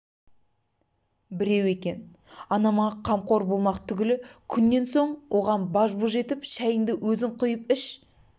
біреу екен анама қамқор болмақ түгілі күннен соң оған баж-бұж етіп шәйіңды өзің қойып іш